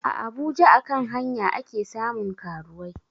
A abuja a kan hanya ake samun karuwai